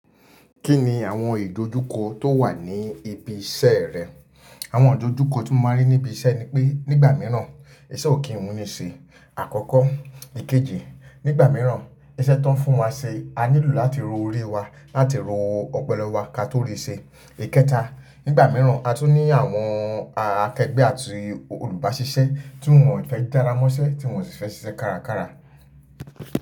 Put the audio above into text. Kí ni àwọn ìdojúkọ tó wà ní ibi iṣẹ́ rẹ? Àwọn ìdojúkọ tí mo máa ń rí ní ibi iṣẹ́ ni pé nígbà mìíràn iṣẹ́ ò kí n wuni ṣe. Àkọ́kọ́. Ikeji, nígbà mìíràn iṣẹ́ tó ń fún wa ṣe, a nílò láti ro orí wa, láti ro ọpolo wa ka tó rí ṣe. Ìkẹta, nígbà mìíràn a tún ní àwọn akẹgbẹ́ àti olùbáṣiṣẹ́ tí wọ́n ò fẹ́ jára mọ́ṣẹ́, tí wọ́n ò si fẹ́ ṣiṣẹ́ kárakára.